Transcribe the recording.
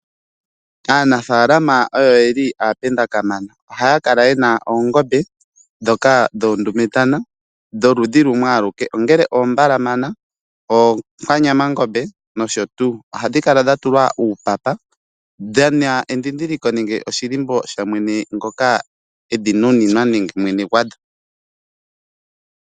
Aanafaalama oyo yeli aapenda kamana. Ohaya kala yena oongombe ndhoka dhuundumentana dholudhi lumwe aluke ongele oombalamana oonkwanyama ngombe nosho tuu. Ohadhi kala dhatulwa uupapa, dhina edhidhiliko nenge oshilimbo shamwene ngoka edhi nuninwa nenge mwene gwadho.